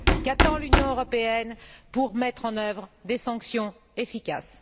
Qu'attend l'Union européenne pour mettre en œuvre des sanctions efficaces?